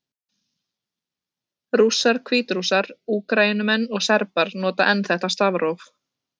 Rússar, Hvítrússar, Úkraínumenn og Serbar nota enn þetta stafróf.